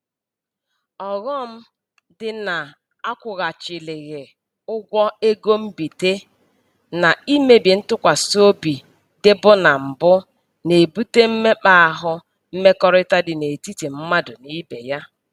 Ọghọm dị na akwụghachilighị ụgwọ ego mbite na imebi ntụkwasịobi dịbu na mbụ na-ebute mmekpa ahụ mmekọrịta dị n'etiti mmadụ n'ibe ya